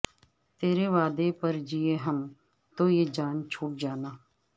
ترے وعدے پر جیے ہم تو یہ جان جھوٹ جانا